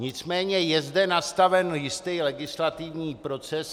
Nicméně je zde nastaven jistý legislativní proces.